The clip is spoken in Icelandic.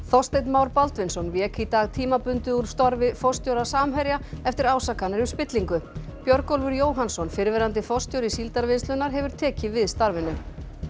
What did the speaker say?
Þorsteinn Már Baldvinsson vék í dag tímabundið úr starfi forstjóra Samherja eftir ásakanir um spillingu Björgólfur Jóhannsson fyrrverandi forstjóri Síldarvinnslunnar hefur tekið við starfinu